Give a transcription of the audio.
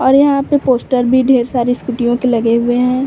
और यहाँ पे पोस्टर भी ढेर सारी स्कूटियों के लगे हुए हैं।